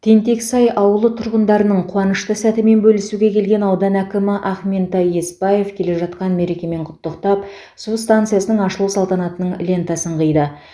тентексай ауылы тұрғындарының қуанышты сәтімен бөлісуге келген аудан әкімі ақментай есбаев келе жатқан мерекемен құттықтап су станциясының ашылу салтанатының лентасын қиды